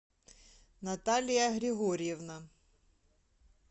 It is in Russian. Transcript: наталья григорьевна